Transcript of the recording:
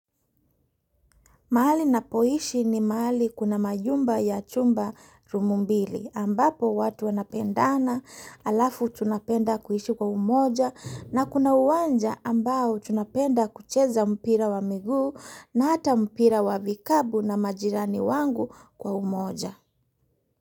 Mahali napoishi ni mahali kuna majumba ya chumba rumu mbili ambapo watu wanapendana alafu tunapenda kuishi kwa umoja na kuna uwanja ambao tunapenda kucheza mpira wa miguu na hata mpira wa vikapu na majirani wangu kwa umoja.